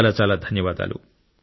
చాలా చాలా ధన్యవాదాలు